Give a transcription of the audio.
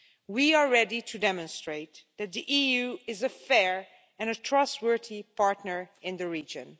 We are ready to demonstrate that the EU is a fair and trustworthy partner in the region.